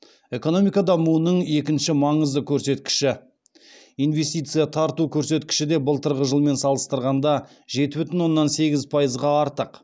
экономика дамуының екінші маңызды көрсеткіші инвестиция тарту көрсеткіші де былтырғы жылмен салыстырғанда жеті бүтін оннан сегіз пайызға артық